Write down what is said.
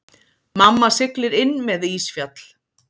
Mamma siglir inn með ísfjall.